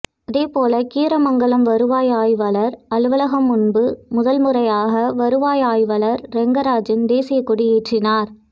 அதே போல கீரமங்கலம் வருவாய் ஆய்வாளர் அலவலகம் முன்பு முதல் முறையாக வருவாய் ஆய்வாளர் ரெங்கராஜன் தேசிய கொடி ஏற்றினார்